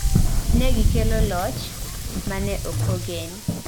Ne gikelo loch ma ne ok ogen